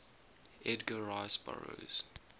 edgar rice burroughs